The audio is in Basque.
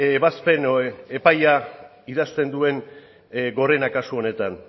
ebazpen epaia idazten duen gorenak kasu honetan